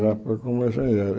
Já foi como engenheiro.